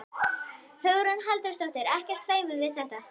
Hugrún Halldórsdóttir: Ekkert feiminn við þetta?